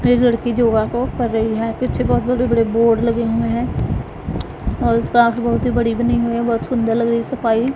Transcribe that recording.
एक लड़की जो वर्कआउट कर रही है पीछे बहोत बड़े बड़े बोर्ड लगे हुए हैं और घास बहोत बड़ी बनी हुई है बहोत सुंदर लग रही है सफाई।